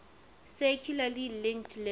circularly linked list